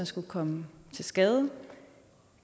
skulle komme til skade